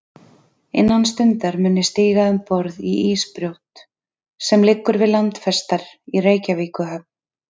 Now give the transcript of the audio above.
Innan stundar mun ég stíga um borð í ísbrjót, sem liggur við landfestar í Reykjavíkurhöfn.